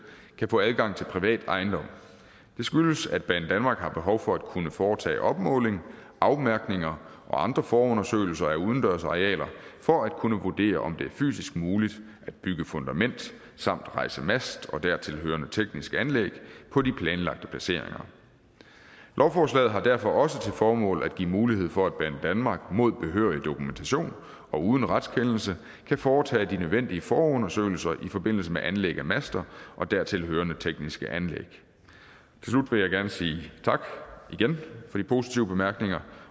kan få adgang til privat ejendom det skyldes at banedanmark har behov for at kunne foretage opmåling afmærkninger og andre forundersøgelser af udendørsarealer for at kunne vurdere om det fysisk er muligt at bygge fundament samt rejse mast og dertilhørende teknisk anlæg på de planlagte placeringer lovforslaget har derfor også til formål at give mulighed for at banedanmark mod behørig dokumentation og uden retskendelse kan foretage de nødvendige forundersøgelser i forbindelse med anlæg af master og dertilhørende tekniske anlæg til slut vil positive bemærkninger